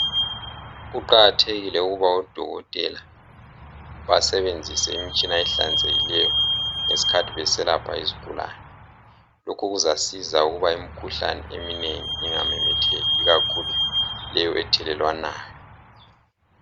Kuqakathekile ukuthi odokotela basebenzise imitshina ehlanzekileyo ngesikhathi beselapha izigulani lokhu kuzasiza imikhuhlane eminengi ingamemetheki ikakhulu leyi ethelelwanayo